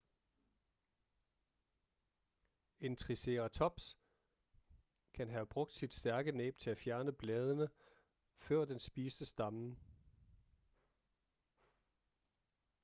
en triceratops kan have brugt sit stærke næb til at fjerne bladene før den spiste stammen